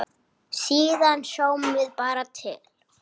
Síðan sjáum við bara til.